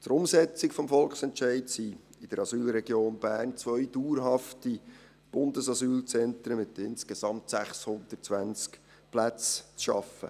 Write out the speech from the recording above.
Für die Umsetzung des Volksentscheids sind in der Asylregion Bern zwei dauerhafte Bundesasylzentren mit insgesamt 620 Plätzen zu schaffen.